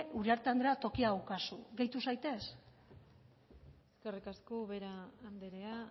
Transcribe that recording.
uriarte andrea tokia daukazu gehitu zaitez eskerrik asko ubera andrea